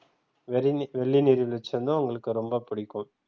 வெறினி வெள்ளி நீர் வீழ்ச்சி வந்து உங்களுக்கு ரொம்ப பிடிக்கும்.